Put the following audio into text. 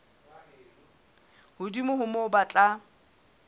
hodimo ho moo ba tla